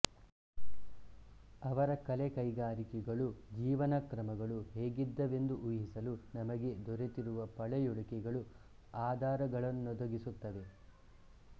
ಅವರ ಕಲೆ ಕೈಗಾರಿಕೆಗಳು ಜೀವನ ಕ್ರಮಗಳು ಹೇಗಿದ್ದವೆಂದು ಊಹಿಸಲು ನಮಗೆ ದೊರೆತಿರುವ ಪಳೆಯುಳಿಕೆಗಳು ಆಧಾರಗಳನ್ನೊದಗಿಸುತ್ತವೆ